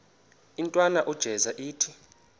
intwana unjeza ithi